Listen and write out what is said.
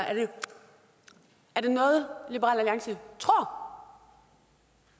er det noget liberal alliance tror